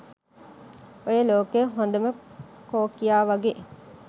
ඔය ලෝකේ හොඳම කෝකියා වගේ